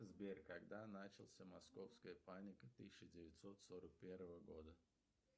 сбер когда начался московская паника тысяча девятьсот сорок первого года